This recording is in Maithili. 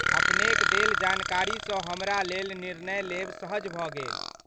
अपनेक देल जानकारीसँ हमरा लेल निर्णय लेब सहज भऽ गेल।